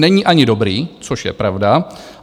Není ani dobrý, což je pravda.